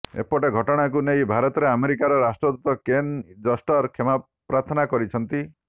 ଏପଟେ ଘଟଣାକୁ ନେଇ ଭାରତରେ ଆମେରିକାର ରାଷ୍ଟ୍ରଦୂତ କେନ୍ ଜଷ୍ଟର କ୍ଷମା ପ୍ରାର୍ଥନା କରିଛନ୍ତି